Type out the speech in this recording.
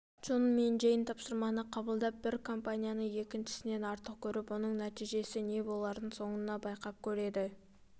джон мен джейн тапсырманы қабылдап бір компанияны екіншісінен артық көріп оның нәтижесі не боларын соңынан байқап көреді